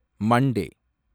Monday